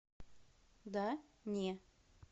да не